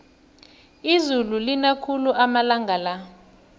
izulu lina khulu amalanga la